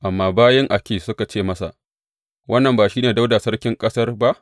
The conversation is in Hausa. Amma bayin Akish suka ce masa, Wannan ba shi ne Dawuda sarkin ƙasar ba?